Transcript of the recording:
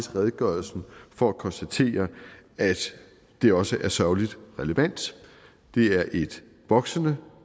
redegørelsen for at konstatere at det også er sørgeligt relevant det er et voksende